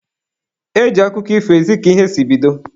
E ji akụkọ ifo ezi ka ihe si bido.